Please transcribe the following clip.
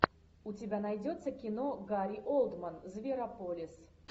у тебя найдется кино гарри олдман зверополис